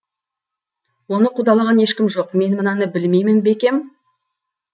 оны қудалаған ешкім жоқ мен мынаны білмеймін бе екем